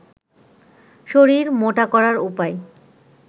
শরীর মোটা করার উপায়